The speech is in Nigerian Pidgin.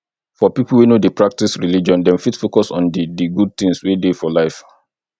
for pipo wey no dey practice religion dem fit focus on di di good things wey dey for life